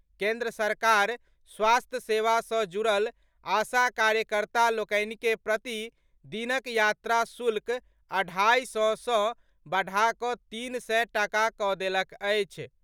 केन्द्र सरकार स्वास्थ्य सेवा सॅ जुड़ल आशा कार्यकर्ता लोकनि के प्रति दिनक यात्रा शुल्क अढ़ाई सय सॅ बढ़ा कऽ तीन सय टाका कऽ देलक अछि।